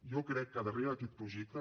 jo crec que darrere d’aquest projecte